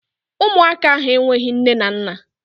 Ụmụaka ahụ enweghị nne na nna.